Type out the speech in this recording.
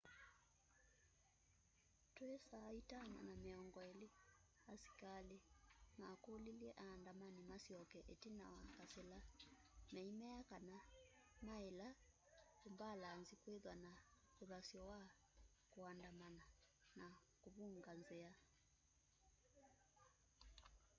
twi 11:20 asikali makulilye aandamani masyoke itina kwa kasila meimea kana maila umbalanzi kwithwa na uthasyo wa kuandamana na kuvunga nzia